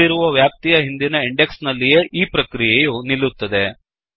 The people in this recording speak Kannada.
ನೀಡಿರುವ ವ್ಯಾಪ್ತಿಯ ಹಿಂದಿನ ಇಂಡೆಕ್ಸ್ ನಲ್ಲಿಯೇ ಈ ಪ್ರಕ್ರಿಯೆಯು ನಿಲ್ಲುತ್ತದೆ